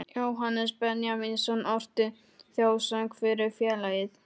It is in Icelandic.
Jóhannes Benjamínsson orti þjóðsöng fyrir félagið